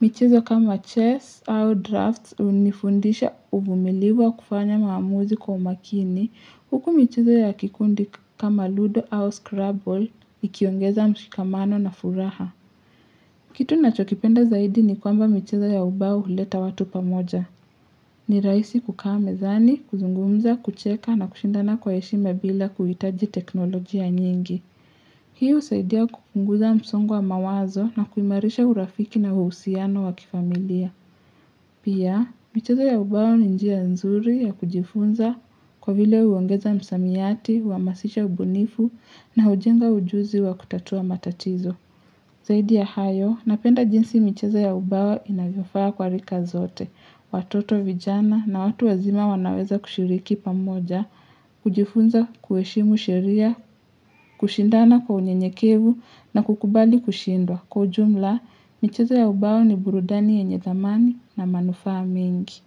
michezo kama chess au drafts unifundisha uvumilivu kufanya maamuzi kwa umakini. Huku michezo ya kikundi kama ludo au scrabble ikiongeza mshikamano na furaha. Kitu na chokipenda zaidi ni kwamba michez ya ubao huleta watu pamoja. Ni raisi kukaa mezani, kuzungumza, kucheka na kushindana kwa heshima bila kuitaji teknolojia nyingi. Hii husaidia kupnguza msongo wa mawazo na kuimarisha urafiki na uhusiano wakifamilia. Pia, michezo ya ubao ni njia nzuri ya kujifunza kwa vile uongeza msamiati, uhamasisha ubunifu na ujenga ujuzi wa kutatua matatizo. Zaidi ya hayo, napenda jinsi micheza ya ubao inavyofaa kwa rika zote. Watoto vijana na watu wazima wanaweza kushiriki pamoja, kujifunza kuheshimu sheria, kushindana kwanyenyekevu na kukubali kushindwa. Kiujumla, micheza ya ubao ni burudani ya nye thamani na manufaa mingi.